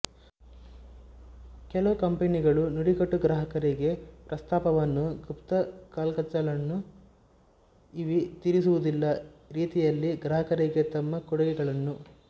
ಕೆಲವು ಕಂಪನಿಗಳು ನುಡಿಗಟ್ಟು ಗ್ರಾಹಕರಿಗೆ ಪ್ರಸ್ತಾಪವನ್ನು ಗುಪ್ತ ಕ್ಯಾಚ್ಗಳನ್ನು ಇವೆ ತಿಳಿದಿರುವುದಿಲ್ಲ ರೀತಿಯಲ್ಲಿ ಗ್ರಾಹಕರಿಗೆ ತಮ್ಮ ಕೊಡುಗೆಗಳನ್ನು